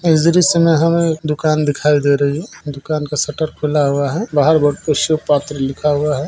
इस दृश्य मे हमे दुकान दिखाई दे रही है दुकान का शटर खुला हुआ है बाहर बोर्ड पे शिवपात्र लिखा हुआ है।